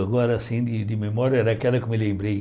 Agora, assim, de de memória, era aquela que eu me lembrei.